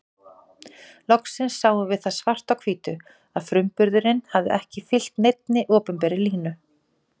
Loksins sáum við það svart á hvítu að frumburðurinn hafði ekki fylgt neinni opinberri línu.